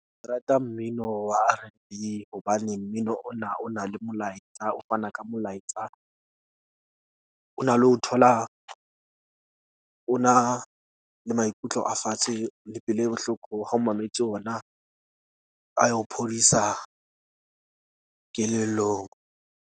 Ke rata mmino wa R_N_B hobane mmino ona o na le molaetsa. O fana ka molaetsa, o na le ho thola. O na le maikutlo a fatshe le pelo e bohloko ha o mametse ona a ya o phodisa kelellong.